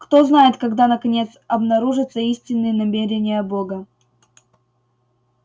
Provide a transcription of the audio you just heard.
кто знает когда наконец обнаружатся истинные намерения бога